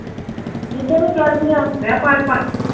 ਕਿਧਰ ਨੂੰ ਚੜਦੀਆਂ